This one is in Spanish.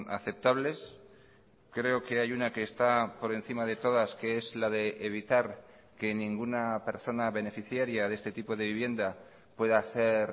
aceptables creo que hay una que está por encima de todas que es la de evitar que ninguna persona beneficiaria de este tipo de vivienda pueda ser